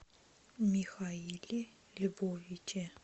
михаиле львовиче